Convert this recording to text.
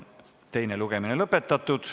Teine lugemine on lõpetatud.